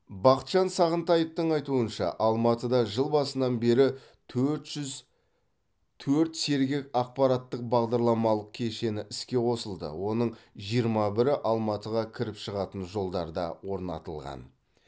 бақытжан сағынтаевтың айтуынша алматыда жыл басынан бері төрт жүз төрт сергек аппараттық бағдарламалық кешені іске қосылды оның жиырма бірі алматыға кіріп шығатын жолдарда орнатылған